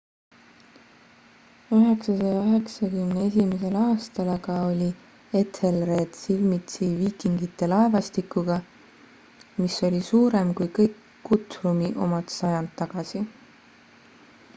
991 aastal aga oli ethelred silmitsi viikingite laevastikuga mis oli suurem kui kõik guthrumi omad sajand tagasi